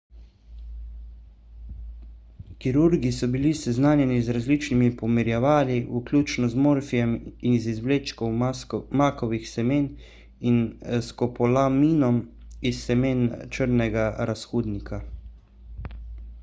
kirurgi so bili seznanjeni z različnimi pomirjevali vključno z morfijem iz izvlečkov makovih semen in skopolaminom iz semen črnega razhudnika